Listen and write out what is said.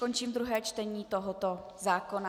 Končím druhé čtení tohoto zákona.